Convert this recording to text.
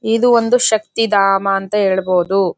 ಇದು ಒಂದು ಶಕ್ತಿಧಾಮ ಅಂತ ಹೇಳಬಹುದು.